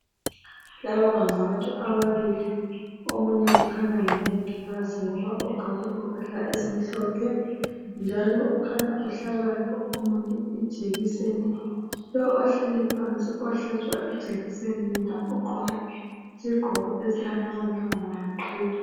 Laba ngabantu ababili lowu kukhanya ngumongikazi ngoba ugqoke impahla ezimhlophe njalo ukhanya uhlaba lo omunye ijekise lo omunye ohlaba omunye ijekise ugqoke isigqoko esilamabalabala waqhiya